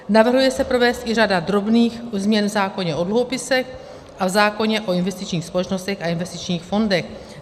Navrhuje se provést i řada drobných změn v zákoně o dluhopisech a v zákoně o investičních společnostech a investičních fondech.